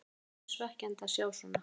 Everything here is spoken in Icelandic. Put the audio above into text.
Það er mjög svekkjandi að sjá svona.